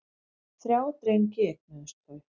Þrjá drengi eignuðust þau.